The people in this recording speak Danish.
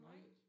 Nej